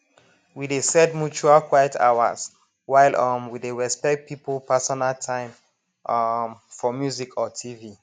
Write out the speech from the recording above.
we dey set mutual quiet hours while um we dey respect people personal time um for music or tv